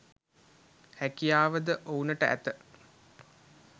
හැකියාව ද ඔවුනට ඇත.